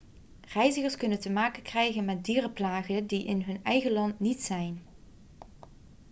reizigers kunnen te maken krijgen met dierenplagen die er in hun eigen land niet zijn